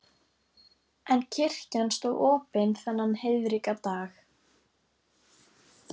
En kirkjan stóð opin þennan heiðríka dag.